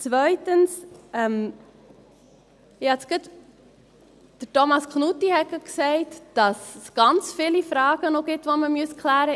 Zweitens: Thomas Knutti hat eben gerade gesagt, dass es noch ganz viele Fragen gibt, die man klären müsste.